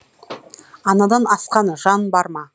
анадан асқан жан бар ма